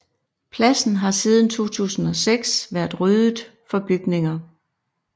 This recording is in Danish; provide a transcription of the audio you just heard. Pladsen har siden 2006 været ryddet for bygninger